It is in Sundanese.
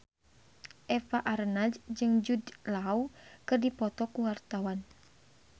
Eva Arnaz jeung Jude Law keur dipoto ku wartawan